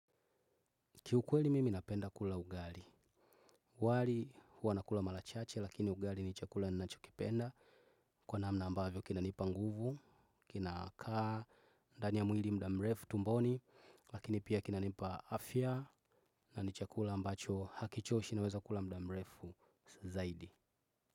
Kiukweli mimi napenda kula ugali. Wali hua nakula mara chache lakini ugali ni chakula ninacho kipenda. Kwa namna ambavyo kinanipa nguvu, kina kaa ndani ya mwili muda mrefu tumboni, lakini pia kinanipa afya na ni chakula ambacho hakichoshi naweza kula muda mrefu zaidi.